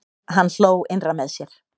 Hann hló innra með sér.